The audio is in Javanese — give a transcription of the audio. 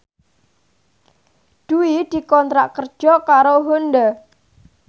Dwi dikontrak kerja karo Honda